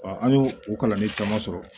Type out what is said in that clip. an y'o o kalanden caman sɔrɔ